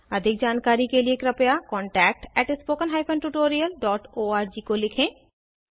अधिक जानकारी के कृपया contactspoken tutorialorg को लिखें